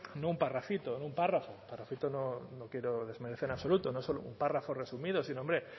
no un parrafito no un párrafo un parrafito no quiero desmerecer en absoluto no solo un párrafo resumido sino hombre